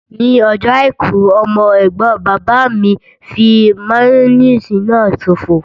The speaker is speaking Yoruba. Ní ọjọ́ àìkú, ọmọ ẹ̀gbọ́n bàbá mi fí máyóníìsì náà ṣòfò